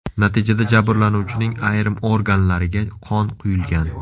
Natijada jabrlanuvchining ayrim organlariga qon quyilgan.